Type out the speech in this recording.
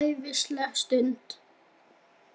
Þetta verður æðisleg stund.